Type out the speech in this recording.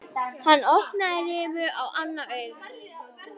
Hann opnaði rifu á annað augað.